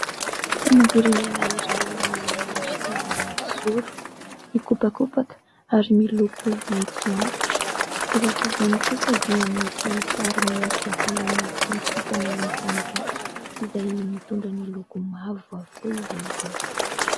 Ny sainam-pirenena iray manana endrika mahitsy zoro, mikopakopaka ary miloko maitso antitra, eo afovoany kosa dia misy sary miendrika volana sy kitana mifanakaiky izay mitondra ny loko mavo avokoa izy ireo.